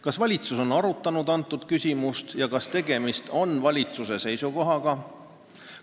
Kas valitsus on arutanud antud küsimust ja kas tegemist on valitsuse seisukohaga?